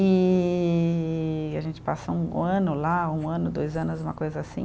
E a gente passa um ano lá, um ano, dois anos, uma coisa assim.